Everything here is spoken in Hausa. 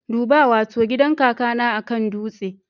Duba! Wato gidan kakana akan dutse